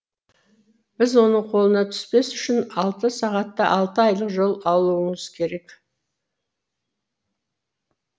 біз оның қолына түспес үшін алты сағатта алты айлық жол алуыңыз керек